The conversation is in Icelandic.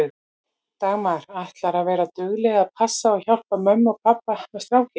Dagmar: Ætlarðu að vera dugleg að passa og hjálpa mömmu og pabba með strákinn?